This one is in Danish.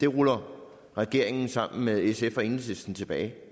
ruller regeringen sammen med sf og enhedslisten tilbage